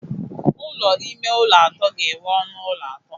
Ụlọ ime ụlọ atọ ga-enwe ọnụ ụlọ atọ.